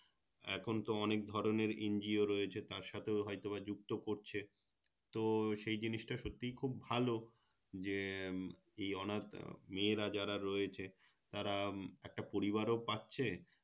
এখন তো অনেক ধরণের NGO রয়েছে তার সাথেও হয়তো বা যুক্ত করছে তো সেই জিনিসটা সত্যিই খুব ভালো যে এই অনাথ মেয়েরা যারা রয়েছে তারা একটা পরিবারও পাচ্ছে